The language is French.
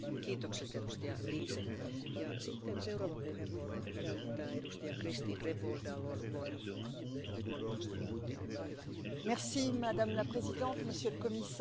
Madame la Présidente, Monsieur le Commissaire, chers collègues, tout au long de cette mandature, nous n'avons cessé de réviser le cadre réglementaire européen en matière de contrôle et de réduction des émissions des véhicules.